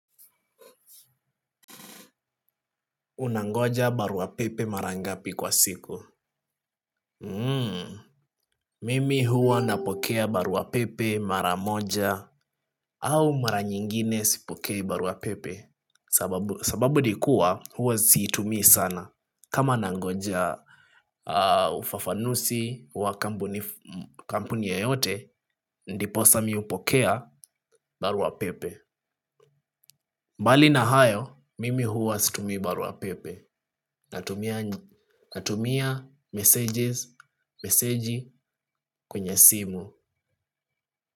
Unangoja baruapepe mara ngapi kwa siku. Mimi huwa napokea baruapepe mara moja. Au mara nyingine sipokei baruapepe sababu sababu nikuwa huwa siitumii sana. Kama nangoja ufafanuzi wa kampuni yoyote ndiposa mimi hupokea baruapepe. Mbali na hayo mimi huwa situmii baruapepe. Natumia messages. Meseji kwenye simu.